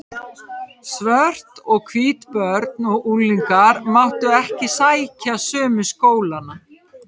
Svört og hvít börn og unglingar máttu ekki sækja sömu skólana.